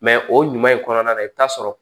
Mɛ o ɲuman ye kɔnɔna na i bɛ t'a sɔrɔ